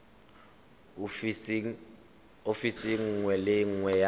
ofising nngwe le nngwe ya